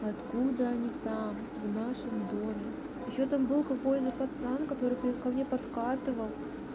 откуда они там в нашем доме ещё там был какой-то пацан который при ко мне подкатывал